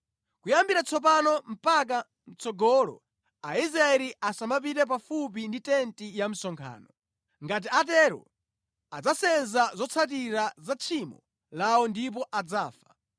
Kuyambira tsopano mpaka mʼtsogolo Aisraeli asamapite pafupi ndi tenti ya msonkhano. Ngati atero adzasenza zotsatira za tchimo lawo ndipo adzafa.